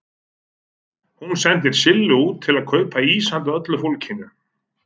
Hún sendir Sillu út til að kaupa ís handa öllu fólkinu.